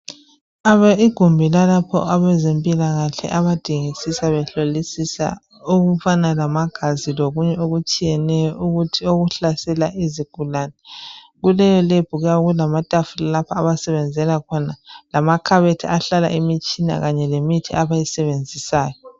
Igumbi lalapho abezempilakahle abadingisisa behlolisisa ngegazi lokunye okutshiyeneyo okuhlasela izigulane. Kuleyo lebhu kuyabe kulamatafula lapho abasebenzela khona lamakhabethi ahlala imitshina kanye lemithi abayisebenzisayo.